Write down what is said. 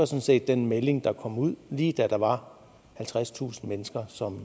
set den melding der kom ud lige da der var halvtredstusind mennesker som